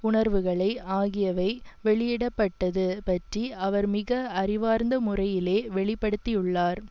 உணர்வுகளை ஆகியவை வெளியிட பட்டது பற்றி அவர் மிக அறிவார்ந்த முறையிலே வெளிப்படுத்தியுள்ளார்